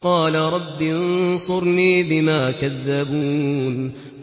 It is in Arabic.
قَالَ رَبِّ انصُرْنِي بِمَا كَذَّبُونِ